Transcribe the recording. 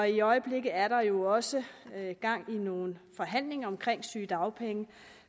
i øjeblikket er der jo også gang i nogle forhandlinger om sygedagpenge